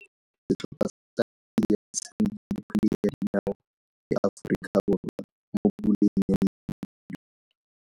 Setlhopha sa Nigeria se tshamekile kgwele ya dinao le Aforika Borwa mo puleng ya medupe.